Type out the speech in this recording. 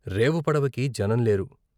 రేవుపడపకి జనం లేరు.